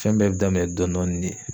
Fɛn bɛɛ bɛ daminɛ dɔn dɔɔnin de.